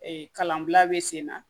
Ee kalanbila be sen na